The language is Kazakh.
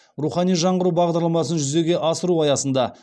рухани жаңғыру бағдарламасын жүзеге асыру аясында